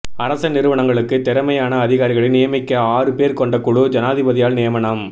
அரச நிறுவனங்களுக்கு திறமையான அதிகாரிகளை நியமிக்க ஆறு பேர் கொண்ட குழு ஜனாதிபதியால் நியமனம்